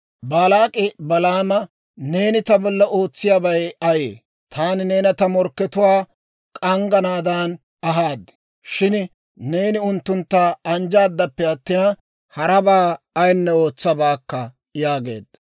Baalaak'i Balaama, «Neeni ta bolla ootsiyaabay ayee? Taani neena ta morkkatuwaa shek'k'anaadan ahaad; shin neeni unttuntta anjjaaddappe attina, harabaa ayinne ootsabaakka!» yaageedda.